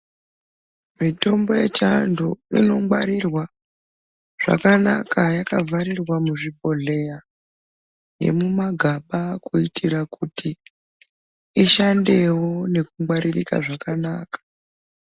Mitombo ye chiandu ino ngwarirwa zvakanaka yaka vharirwa mu zvibhohleya ne muma gaba kuitira kuti ishandewo neku ngwaririka zvaka naka.